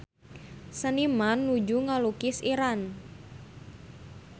Seniman nuju ngalukis Iran